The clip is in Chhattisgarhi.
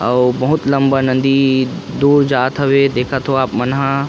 अउ बहुत लम्बा नदी दो जातवे देखत हवे मना